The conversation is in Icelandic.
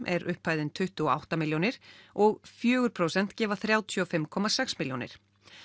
er upphæðin tuttugu og átta milljónir og fjögur prósent gefa þrjátíu og fimm komma sex milljónir